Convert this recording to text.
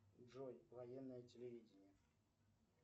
джой военное телевидение